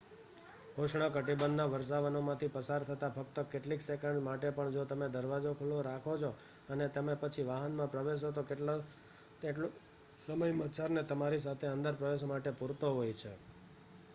ઉષ્ણકટિબંધ ના વર્ષાવનો માંથી પસાર થતાં ફક્ત કેટલીક સેકન્ડ્સ માટે પણ જો તમે દરવાજો ખુલ્લો રાખો છો અને તમે પછી વાહન માં પ્રવેશો તો એટલો સમય મચ્છર ને તમારી સાથે અંદર પ્રવેશવા માટે પૂરતો હોય છે